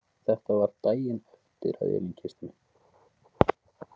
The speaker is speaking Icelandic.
Þetta var daginn eftir að Elín kyssti mig.